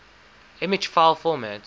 image file format